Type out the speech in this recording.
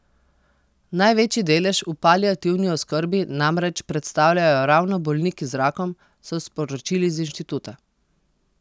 Največji delež v paliativni oskrbi namreč predstavljajo ravno bolniki z rakom, so sporočili z inštituta.